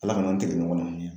ALA kana tigɛ ɲɔgɔn na.